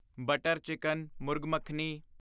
butter chicken murgh makhani